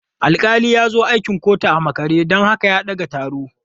Alƙali ya zo akin kotun a makare don haka ya ɗage taron.